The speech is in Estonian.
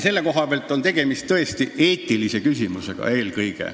Selle koha pealt on tõesti tegemist eelkõige eetilise küsimusega.